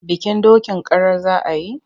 Bikin dokin karar za a yi?